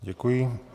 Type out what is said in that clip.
Děkuji.